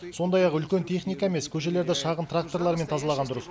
сондай ақ үлкен техника емес көшелерді шағын тракторлармен тазалаған дұрыс